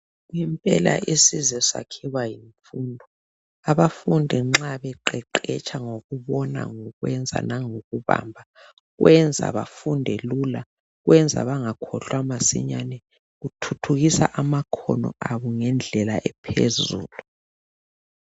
Ngempela isizwe sakhiwa yimfundo. Abafundi nxa beqeqetsha ngokubona, ngokwenza nangokubamba, kwenza bafunde lula, kwenza bangakhohlwa masinyane, kuthuthukisa amakhono abo ngendlela ephezulu.